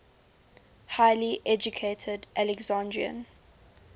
highly educated alexandrian